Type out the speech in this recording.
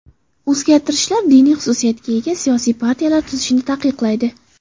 O‘zgartishlar diniy xususiyatga ega siyosiy partiyalar tuzishni taqiqlaydi.